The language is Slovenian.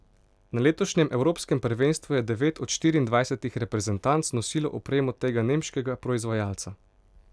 Na letošnjem Evropskem prvenstvu je devet od štiriindvajsetih reprezentanc nosilo opremo tega nemškega proizvajalca.